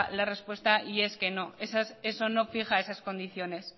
la respuesta y es que no eso no fija esas condiciones